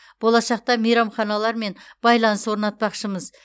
болашақта мейрамханалармен байланыс орнатпақшымыз